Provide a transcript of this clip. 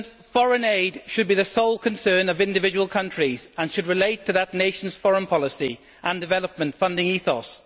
Foreign aid should be the sole concern of individual countries and should relate to the nation's foreign policy and development funding ethos.